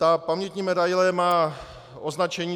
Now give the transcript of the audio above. Ta pamětní medaile má označení